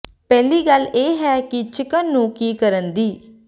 ਪਹਿਲੀ ਗੱਲ ਇਹ ਹੈ ਕਿ ਚਿਕਨ ਨੂੰ ਕੀ ਕਰਨ ਦੀ